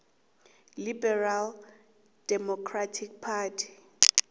liberal democratic party